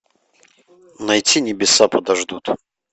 найти небеса подождут